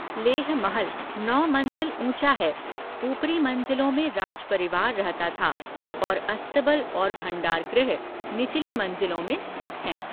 लेह महल नौ मंज़िल ऊँचा है, ऊपरी मंज़िलों में राज परिवार रहता था, और अस्तबल और भंडारगृह निचली मंज़िलों में स्थित हैं।